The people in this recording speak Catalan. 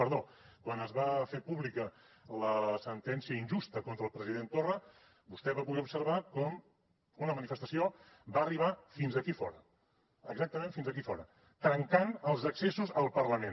perdó quan es va fer pública la sentència injusta contra el president torra vostè va poder observar com una manifestació va arribar fins aquí fora exactament fins aquí fora trencant els accessos al parlament